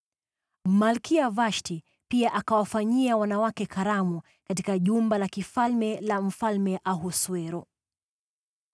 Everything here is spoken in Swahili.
Malkia Vashti pia akawafanyia wanawake karamu katika jumba la kifalme la Mfalme Ahasuero.